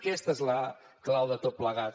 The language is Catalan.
aquesta és la clau de tot plegat